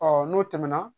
Ɔ n'o tɛmɛna